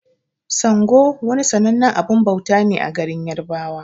Sango wani sannanen abun bauta ne a garin yarbawa.